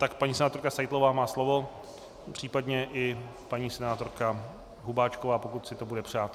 Tak paní senátorka Seitlová má slovo, případně i paní senátorka Hubáčková, pokud si to bude přát.